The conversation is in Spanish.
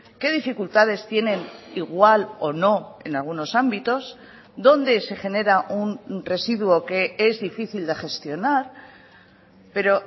qué dificultades tienen igual o no en algunos ámbitos dónde se genera un residuo que es difícil de gestionar pero